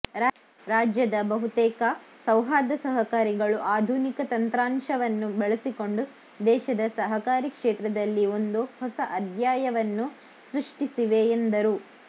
ರಾಜ್ಯದ ಬಹುತೇಕ ಸೌಹಾರ್ದ ಸಹಕಾರಿಗಳು ಆಧುನಿಕ ತಂತ್ರಾಂಶವನ್ನು ಬಳಸಿಕೊಂಡು ದೇಶದ ಸಹಕಾರಿ ಕ್ಷೇತ್ರದಲ್ಲಿ ಒಂದು ಹೊಸ ಅಧ್ಯಾಯವನ್ನು ಸೃಷ್ಟಿಸಿವೆ ಎಂದರು